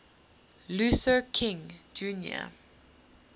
luther king jr